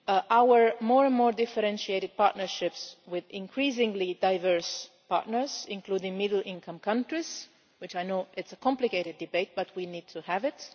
our more and more differentiated partnerships with increasingly diverse partners, including middle income countries, which will be a complicated debate, but we need to have